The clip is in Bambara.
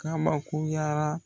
Kabakoyara